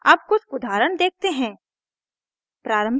अब कुछ उदाहरण देखते हैं